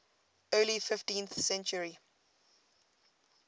early fifteenth century